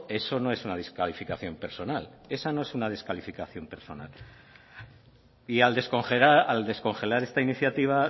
eso no es una descalificación personal y al descongelar esta iniciativa